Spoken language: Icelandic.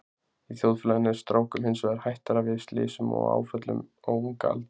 Í þjóðfélaginu er strákum hins vegar hættara við slysum og áföllum á unga aldri.